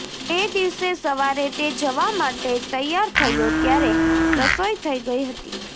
તે દિવસે સવારે તે જવા માટે તૈયાર થયો ત્યારે રસોઇ થઇ ગઇ હતી